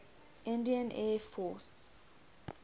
indian air force